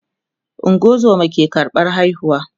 ungozoma ke karɓan haihuwa